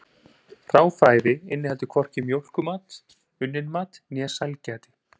Hráfæði inniheldur hvorki mjólkurmat, unnin mat né sælgæti.